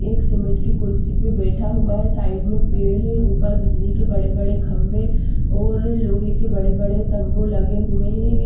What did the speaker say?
एक सीमेंट की कुर्सी पे बैठा हुआ है साइड में पेड़ है ऊपर बिजली के बड़े बड़े खंभे और लोहे के बड़े बड़े तंबू लगे हुए है।